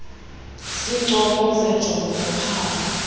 zincomo zenjongo zophambo